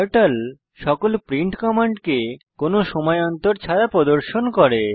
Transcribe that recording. turtle সকল print কমান্ডকে কোনো সময় অন্তর ছাড়া প্রদর্শন করে